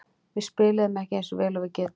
Við spiluðum ekki eins vel og við getum.